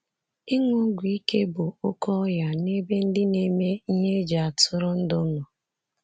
Ịṅụ ọgwụ ike bụ oke ọya n'ebe ndị na-eme ihe eji atụrụndụ nọ.